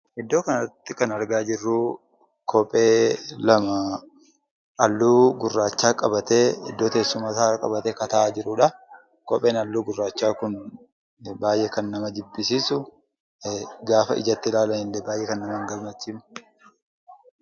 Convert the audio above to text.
Iddoo kanarratti kan argaa jirru kophee lama halluu gurraacha qabatee iddoo teessuma isaa qabatee kan taa'aa jirudha. Kopheen halluu gurraachaa kun baayyee kan nama jibbisiisu, gaafa ijatti ilaalanillee baayyee kan nama hin gammachiisne .